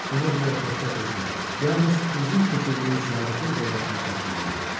Buna görə də təkcə özüm, yalnız özüm keçirdiyim səadətin cəzasını çəkməli idim.